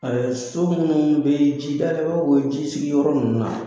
A so minnu bɛ jidaw o jisigiyɔrɔ ninnu na